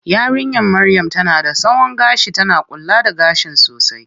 Yarinya maryam tana da tsawon gashi, tana kula da gashin sosai.